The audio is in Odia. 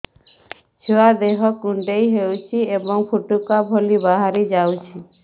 ଛୁଆ ଦେହ କୁଣ୍ଡେଇ ହଉଛି ଏବଂ ଫୁଟୁକା ଭଳି ବାହାରିଯାଉଛି